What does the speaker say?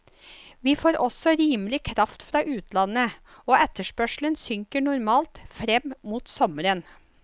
Vi får også rimelig kraft fra utlandet, og etterspørselen synker normalt frem mot sommeren.